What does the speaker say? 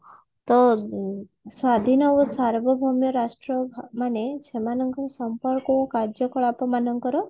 ସ୍ଵାଧୀନ ଓ ସର୍ବଭୋମ୍ୟ ରାଷ୍ଟ୍ର ମାନେ ସେମାନଙ୍କ ସମ୍ପର୍କ ଓ କାର୍ଯ୍ୟକଳାପ ମାନଙ୍କର